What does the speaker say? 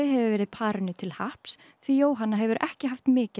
hefur verið parinu til happs því Jóhanna hefur ekki haft mikið á